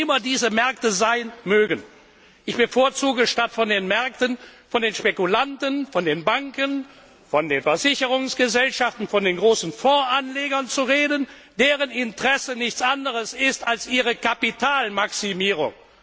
Wer immer diese Märkte sein mögen ich bevorzuge, statt von den Märkten von den Spekulanten, von den Banken, von den Versicherungsgesellschaften, von den großen Fondsanlegern zu reden, deren Interesse nichts anderes ist als ihre Kapitalmaximierung.